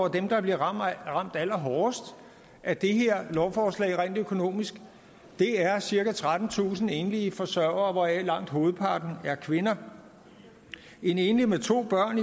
at dem der bliver ramt allerhårdest af det her lovforslag rent økonomisk er cirka trettentusind enlige forsørgere hvoraf langt hovedparten af kvinder en enlig med to børn